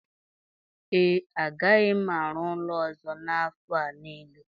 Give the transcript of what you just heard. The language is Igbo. ee, agaghị m arụ ụlọ ọzọ n'afọ a nile